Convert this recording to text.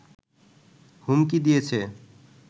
হুমকি দিয়েছে